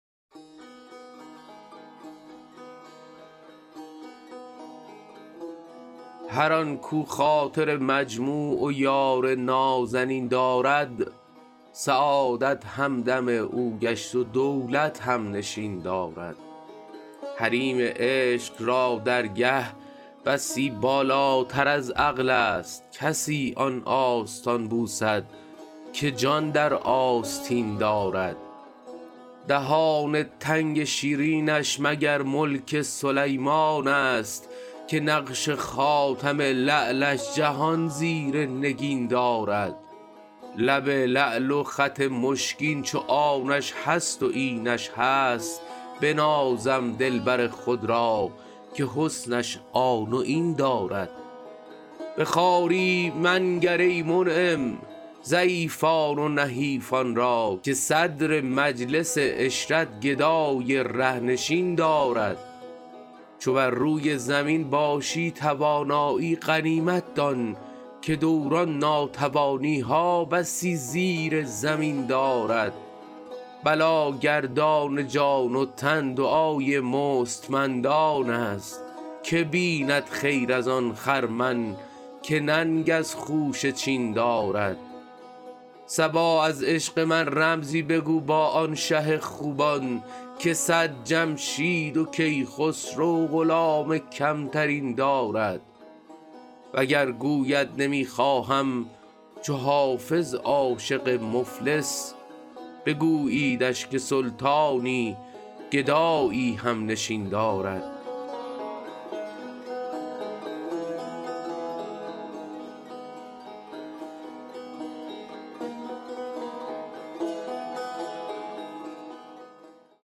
هر آن کاو خاطر مجموع و یار نازنین دارد سعادت همدم او گشت و دولت هم نشین دارد حریم عشق را درگه بسی بالاتر از عقل است کسی آن آستان بوسد که جان در آستین دارد دهان تنگ شیرینش مگر ملک سلیمان است که نقش خاتم لعلش جهان زیر نگین دارد لب لعل و خط مشکین چو آنش هست و اینش هست بنازم دلبر خود را که حسنش آن و این دارد به خواری منگر ای منعم ضعیفان و نحیفان را که صدر مجلس عشرت گدای ره نشین دارد چو بر روی زمین باشی توانایی غنیمت دان که دوران ناتوانی ها بسی زیر زمین دارد بلاگردان جان و تن دعای مستمندان است که بیند خیر از آن خرمن که ننگ از خوشه چین دارد صبا از عشق من رمزی بگو با آن شه خوبان که صد جمشید و کیخسرو غلام کم ترین دارد وگر گوید نمی خواهم چو حافظ عاشق مفلس بگوییدش که سلطانی گدایی هم نشین دارد